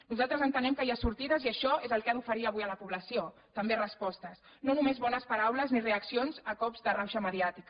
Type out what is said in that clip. nosaltres entenem que hi ha sortides i això és el que ha d’oferir avui a la població també respostes no només bones paraules ni reaccions a cops de rauxa mediàtica